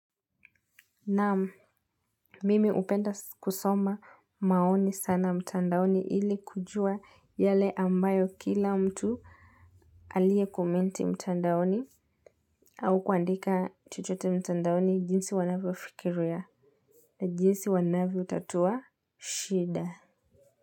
Nam mimi upenda kusoma maoni sana mtandaoni ili kujua yale ambayo kila mtu alie komenti mtandaoni au kuandika chochote mtandaoni jinsi wanavyo fikiriya na jinsi wanavyo tatua shida.